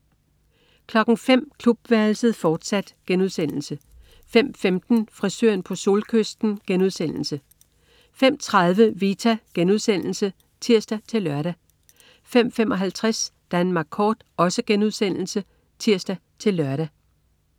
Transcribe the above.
05.00 Klubværelset, fortsat* 05.15 Frisøren på Solkysten* 05.30 Vita* (tirs-lør) 05.55 Danmark Kort* (tirs-lør)